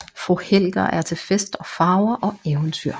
Fru Helger er til fest og farver og eventyr